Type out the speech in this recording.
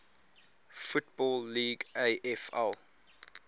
football league afl